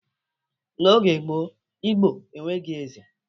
N'oge gboo, Igbo enweghi eze